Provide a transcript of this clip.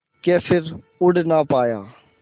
के फिर उड़ ना पाया